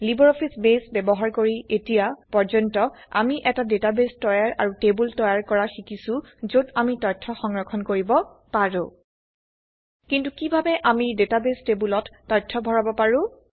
LibreOffice base ব্যবহাৰ কৰি এতিয়া পৰ্যন্ত আমি এটা ডেটাবেস তৈয়াৰ আৰু টেবোল তৈয়াৰ কৰা শিকিছোযত আমি তথ্য সংৰক্ষণ কৰিব পাৰো কিন্তু কিভাবে আমি ডেটাবেস টেবোলত তথ্য ভৰাব পাৰো